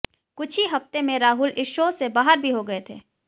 कुछ ही हफ्ते में राहुल इस शो से बाहर भी हो गए थे